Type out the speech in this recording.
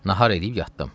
Nahar eləyib yatdım.